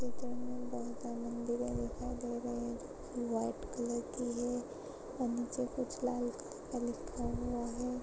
Picture मे मंदिरे दिखाई दे रही है जो की व्हाइट कलर की है और नीचे कुछ लाल कलर का लिखा हुआ है।